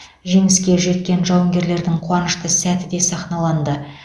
жеңіске жеткен жауынгерлердің қуанышты сәті де сахналанды